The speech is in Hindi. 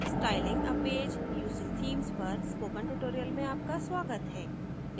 styling a page using themes पर spoken tutorial में आपका स्वागत है